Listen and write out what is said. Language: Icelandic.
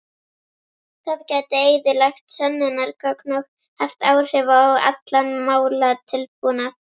Það gæti eyðilagt sönnunargögn og haft áhrif á allan málatilbúnað.